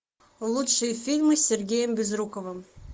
лучшие фильмы с сергеем безруковым